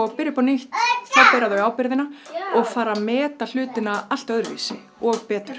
byrja upp á nýtt þá bera þau ábyrgðina og fara að meta hlutina allt öðruvísi og betur